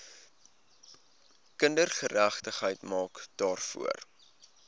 kindergeregtigheid maak daarvoor